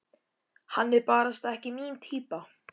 Hann er barasta ekki mín týpa.